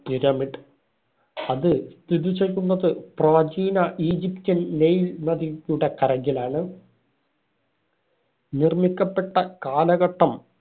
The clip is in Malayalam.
pyramid. അത് സ്ഥിതി ചെയ്യുന്നത് പ്രാചീന ഈജിപ്റ്റിൽ നൈൽ നദിയുടെ കരയിലാണ്. നിര്‍മ്മിക്കപ്പെട്ട കാലഘട്ടം